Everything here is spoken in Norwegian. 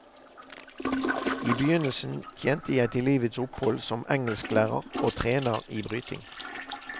I begynnelsen tjente jeg til livets opphold som engelsklærer og trener i bryting.